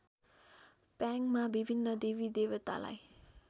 प्याङमा विभिन्न देवीदेवतालाई